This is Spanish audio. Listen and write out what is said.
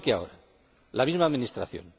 Igual que ahora, la misma Administración.